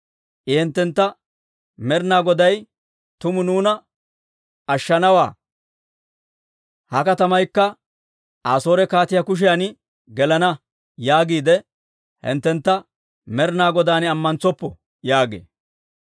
I hinttentta, Med'ina Goday tuma nuuna ashshanawaa; ha katamaykka Asoore kaatiyaa kushiyan gelenna› yaagiide hinttentta Med'ina Godan ammantsoppo» yaagee.